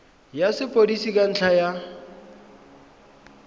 ya sepodisi ka ntlha ya